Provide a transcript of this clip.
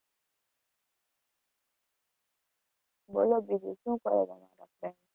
બોલો બીજું શું કરવાનો process?